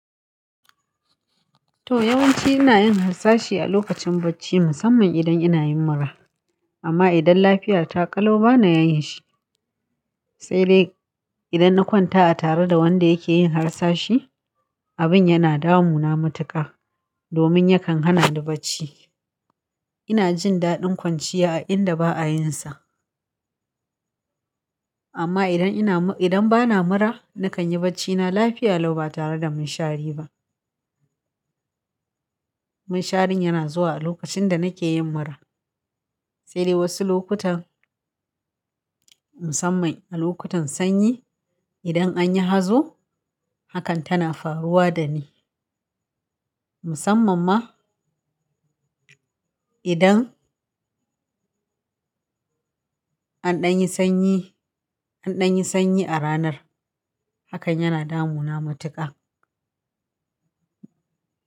To yawanci ina yin harsashi a lokacin bacci musamman idan ina yin mura. Amma idan lafiya ta ƙalau bana yin shi. Sai dai idan na kwanta a tare da wanda yake yin harsashi, abin yana damu na matuƙa domin yakan hana ni bacci. Ina jin daɗin kwanciya a inda ba'a yin sa. Amma idan ina, idan bana mura, na kan yi bacci na lafiya lau ba tare da mun shari ba. Mun sharin yana zuwa a lokacin da nake yin mura. Sai dai wasu lokutan, musamman a lokutan sanyi, idan an yi hazo hakan tana faruwa da ni. Musamman ma idan an ɗan yi sanyi, an ɗan yi sanyi a ranar hakan yana damu na matuƙa.